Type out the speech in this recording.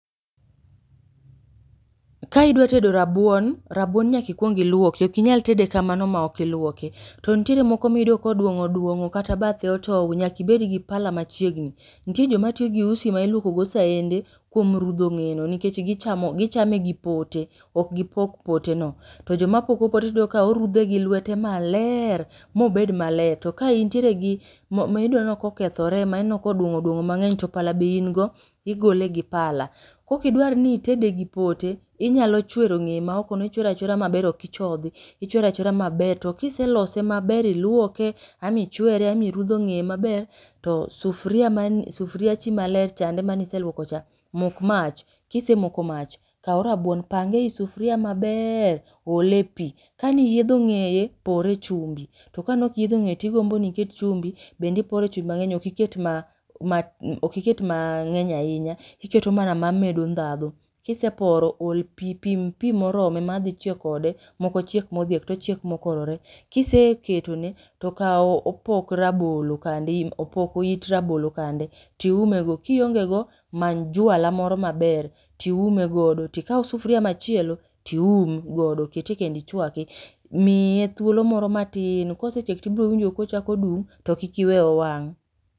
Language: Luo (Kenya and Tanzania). Ka idwa tedo rabuon rabuon, nyaka ikuong iluoki ok inyal tede kamano maok ok iluoke. To nitiere moko miyudo koduong'o oduong'o kata bathe otow nyaka ibedgi pala machiegni. Nitie joma tiyogi usi ma iluokogo saende kuom rudhogo ng'eyeno nikech gichamo gichame gi potene ok gi pok poteno. To joma poko pote tiyudo kaorudhe gi lwete maleer mobed maler. To ka intieregi mo miyudoni ok okethore ma ineno koduong'o oduong'o mang'eny to pala be ingo igolegi pala. Kok idwarni itedegi pote inyalo chwero ng'eye ma okono ichwero achwera maber ok ichodhi ichwero achwera maber. To kiselose maber ilwoke ama ichere ama irudho ng'eye maber to sufria mani sufriachi malerchande mane iseluokocha, mok mach, kisemoko mach kaw rabuon pange eisufuria maber ole pii kane iyiedho ng'eye pore echumbi. To kane ok iyiedho ng'eye tigomboni iket chumbi bende ipore chumbi mang'eny ok iket ma mang'eny ahinya iketo mana mamedo ndhadho. Kiseporo ol pii pim pii moromo madhi chiek kode moko ochiek modhiek tochiek mokorore. Kiseketone tokaw opok rabolo kande opoko it rabolo kande tiumego. Kiongego many jwala moro maber tiumego tikaw sufuria machielo tium godo kete kendo ichwake miye thuolo moro matin. Kosechiek tibrowinjo kochako dung' to kik iweye owang'.